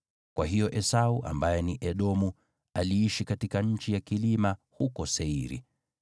Kwa hiyo Esau (ambaye ni Edomu) aliishi katika nchi ya kilima huko Seiri.